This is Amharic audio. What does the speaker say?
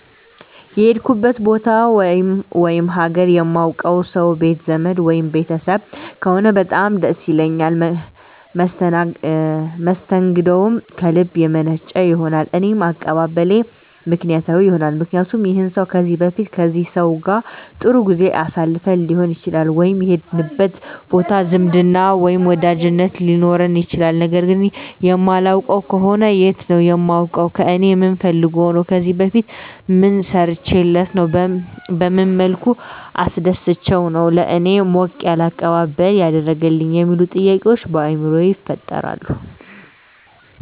የሄድኩበት ቦታ ወይም ሀገር የማውቀው ሰው ቤት ዘመድ ወይም ቤተሰብ ከሆነ በጣም ደስ ይለኛል መስተንግደውም ከልብ የመነጨ ይሆናል እኔም አቀባበሌ ምክንያታዊ ይሆናልምክንያቱም ይህን ሰው ከዚህ በፊት ከዚህ ሰው ጋር ጥሩ ጊዜ አሳልፈን ሊሆን ይችላል ወይም የሄድንበት ቦታ ዝምድና ወይም ወዳጅነት ሊኖረን ይችላል ነገር ግን የማላውቀው ከሆነ የት ነው የማውቀው ከእኔ ምን ፈልጎ ነው ከዚህ በፊት ምን ሰርቸለት ነው በመን መልኩ አስደስቸው ነው ለእኔ ሞቅ ያለ አቀባበል ያደረገልኝ የሚሉ ጥያቄዎች በአይምሮየ ይፈጠራል